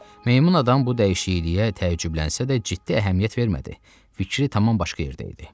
Meymun adam bu dəyişikliyə təəccüblənsə də, ciddi əhəmiyyət vermədi, fikri tamam başqa yerdə idi.